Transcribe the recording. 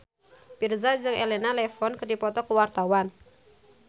Virzha jeung Elena Levon keur dipoto ku wartawan